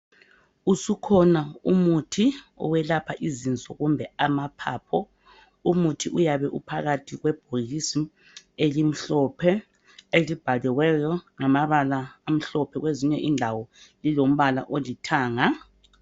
Usukhona umuthi owelapha izinso kumbe amaphaphu umuthi uyabe umphakathi kwebhokisi elimhlophe elibhaliweyo ngamabala amhlophe kwezinye indawo lilombala olithanga.